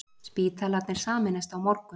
Spítalarnir sameinast á morgun